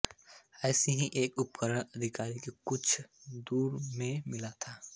ऐसा ही एक उपकरण अधिकारियों को कुछ छोर दूर में मिला था